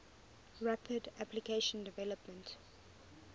rapid application development